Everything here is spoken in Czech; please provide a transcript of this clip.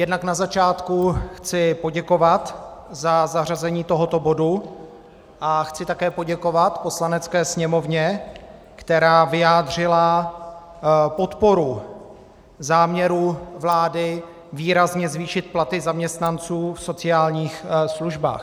Jednak na začátku chci poděkovat za zařazení tohoto bodu a chci také poděkovat Poslanecké sněmovně, která vyjádřila podporu záměru vlády výrazně zvýšit platy zaměstnanců v sociálních službách.